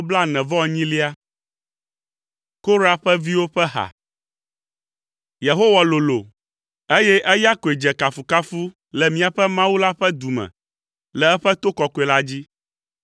Korah ƒe viwo ƒe ha. Yehowa lolo, eye eya koe dze kafukafu le míaƒe Mawu la ƒe du me, le eƒe to kɔkɔe la dzi.